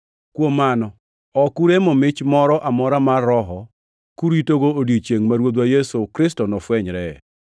Kuom mano, ok uremo mich moro amora mar Roho kuritogo odiechiengʼ ma Ruodhwa Yesu Kristo nofwenyree.